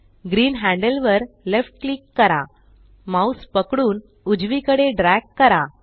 green handle वर left click करा mouse पकडून उजवीकडे ड्रॅग करा